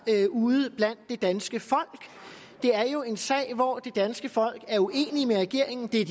ude blandt det danske folk det er jo en sag hvor det danske folk er uenig med regeringen det er